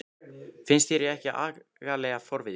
Finnst þér ég ekki agalega forvitin?